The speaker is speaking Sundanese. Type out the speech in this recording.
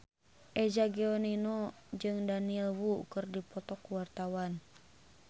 Eza Gionino jeung Daniel Wu keur dipoto ku wartawan